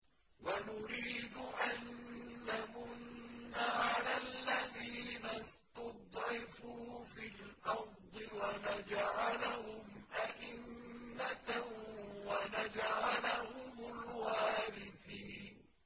وَنُرِيدُ أَن نَّمُنَّ عَلَى الَّذِينَ اسْتُضْعِفُوا فِي الْأَرْضِ وَنَجْعَلَهُمْ أَئِمَّةً وَنَجْعَلَهُمُ الْوَارِثِينَ